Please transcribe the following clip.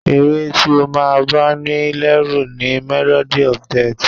Ẹ̀ré tí o máa ń bá ní lẹ́rù ni "Melody of death"